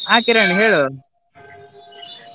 ಆಹ್ ಕಿರಣ್ ಹೇಳು.